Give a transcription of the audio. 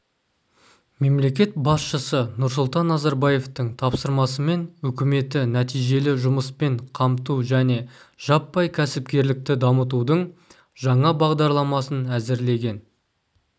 мемлекет басшысы нұрсұлтан назарбаевтың тапсырмасымен үкіметі нәтижелі жұмыспен қамту және жаппай кәсіпкерлікті дамытудың жаңа бағдарламасын әзірлеген